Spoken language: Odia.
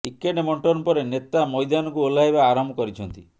ଟିକେଟ୍ ବଣ୍ଟନ ପରେ ନେତା ମଇଦାନକୁ ଓହ୍ଲାଇବା ଆରମ୍ଭ କରିଛନ୍ତି